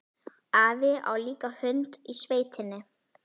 Afi á líka hund í sveitinni.